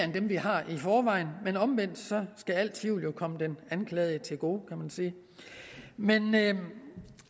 dem vi har i forvejen men omvendt skal al tvivl jo komme den anklagede til gode kan man sige men